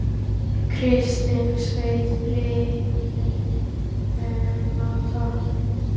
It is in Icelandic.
Kristinn skaut Blikum á toppinn